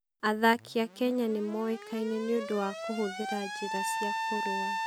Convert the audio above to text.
Athaki a Kenya nĩ moĩkaine nĩ ũndũ wa kũhũthĩra njĩra cia kũrũa.